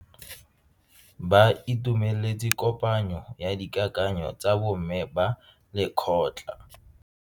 Ba itumeletse kopanyo ya dikakanyo tsa bo mme ba lekgotla.